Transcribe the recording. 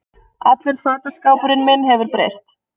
Allur fataskápurinn minn hefur breyst